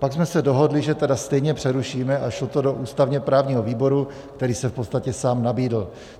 Pak jsme se dohodli, že tedy stejně přerušíme, a šlo to do ústavně-právního výboru, který se v podstatě sám nabídl.